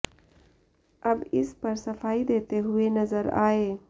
अब इस पर सफाई देते हुए नजर आए